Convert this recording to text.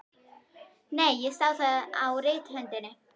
Nei, ég sá það á rithöndinni.